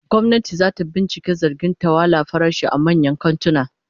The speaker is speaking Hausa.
Gwamnati zata binciki zargin tsawwala farashi a manyan kantuna